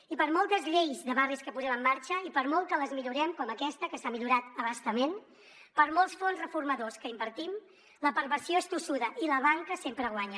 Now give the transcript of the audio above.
i per moltes lleis de barris que posem en marxa i per molt que les millorem com aquesta que s’ha millorat a bastament per molts fons reformadors que hi invertim la perversió és tossuda i la banca sempre guanya